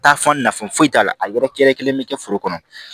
Taa fɔ nafa foyi t'a la a yɛrɛ kɛrɛkelen bɛ kɛ foro kɔnɔ